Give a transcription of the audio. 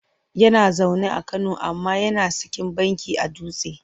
Yana zaune a Kano amma yana sikin banki a Dutse.